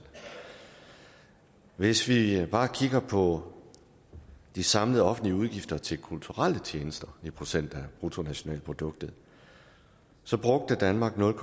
hvis vi bare kigger på de samlede offentlige udgifter til kulturelle tjenester i procent af bruttonationalproduktet så brugte danmark nul